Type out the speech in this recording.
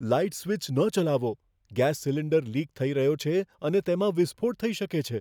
Light switch ન ચલાવો. Gas cylinder leak થઈ રહ્યો છે અને તેમાં વિસ્ફોટ થઈ શકે છે.